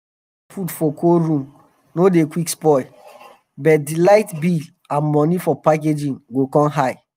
fish wey dem put for cold room no dey quick spoil but d light bill and money for packaging go come high.